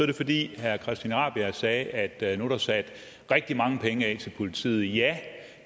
det fordi herre christian rabjerg madsen sagde at der nu er sat rigtig mange penge af til politiet ja